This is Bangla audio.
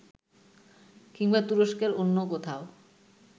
কিংবা তুরস্কের অন্য কোথাও